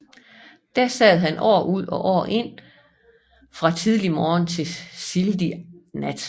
Der sad han år ud og år ind fra tidlig morgen til sildig nat